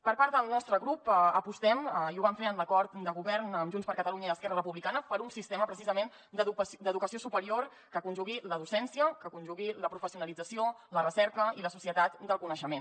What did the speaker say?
per part del nostre grup apostem i ho vam fer en l’acord de govern amb junts per catalunya i esquerra republicana per un sistema precisament d’educació supe rior que conjugui la docència la professionalització la recerca i la societat del coneixement